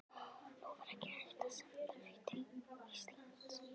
Nú var ekki hægt að senda mig til Íslands.